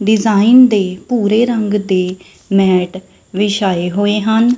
Design ਦੇ ਭੂਰੇ ਰਂਗ ਤੇ ਮੈਟ ਵਿਛਾਏ ਹੋਏ ਹਨ।